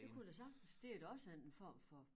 Det kunne jeg da sagtens det er da også en form for